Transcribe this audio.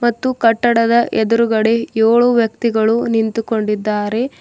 ಮತ್ತು ಕಟ್ಟಡದ ಎದ್ರುಗಡೆ ಏಳು ವ್ಯಕ್ತಿಗಳು ನಿಂತುಕೊಂಡಿದಾರೆ.